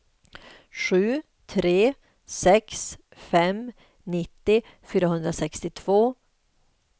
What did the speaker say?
sju tre sex fem nittio fyrahundrasextiotvå